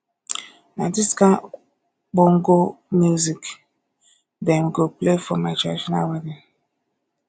na dis kain bongo music dem go play for my traditional wedding